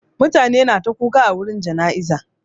Mutane na ta kuka a wurin jana'izar.